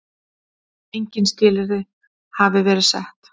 Engin skilyrði hafi verið sett.